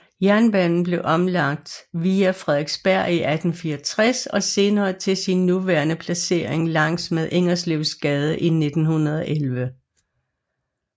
Jernbanen blev omlagt via Frederiksberg i 1864 og senere til sin nuværende placering langs med Ingerslevsgade i 1911